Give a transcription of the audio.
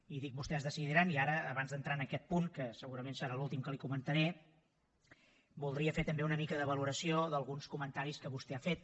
i dic vostès decidiran i ara abans d’entrar en aquest punt que segurament serà l’últim que li comentaré voldria fer també una mica de valoració d’alguns comentaris que vostè ha fet